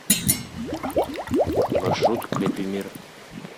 маршрут крепимир